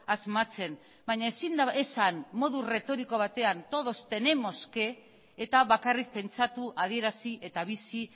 asmatzen baina ezin da esan modu erretoriko batean todos tenemos que eta bakarrik pentsatu adierazi eta bizi